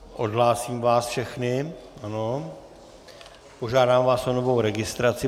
Odhlásím vás všechny a požádám vás o novou registraci.